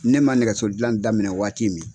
Ne man nɛgɛso dilan daminɛ waati min